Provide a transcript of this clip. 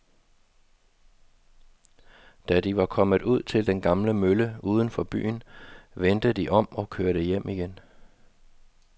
Da de var kommet ud til den gamle mølle uden for byen, vendte de om og kørte hjem igen.